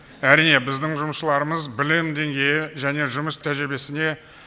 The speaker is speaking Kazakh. әрине біздің жұмысшыларымыз білім деңгейі және жұмыс тәжірибесіне